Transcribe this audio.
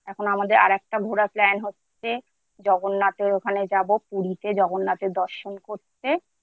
এখন আমাদের আর ঘোড়া Plan হচ্ছে জগন্নাথের ওখানে যাব পুরীতে জগন্নাথের দর্শন করতে।